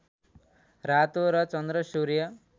रातो र चन्द्र सूर्य